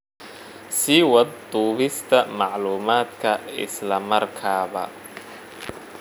Sii wad duubista macluumaadka isla markaaba.